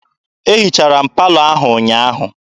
E hichara m palọ ahụ ụnyaahụ.